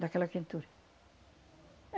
Dá aquela quentura.